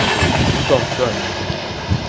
такой ну там в здании где-нибудь